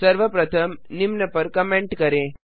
सर्वप्रथम निम्न पर कमेंट करें